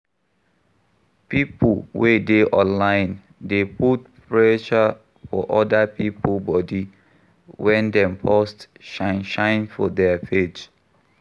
Pipo wey dey online dey put pressure for oda pipo body when dem post shine shine for their page